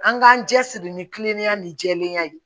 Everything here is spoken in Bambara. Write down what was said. An k'an cɛsiri ni kiliniya ni jɛlenya ye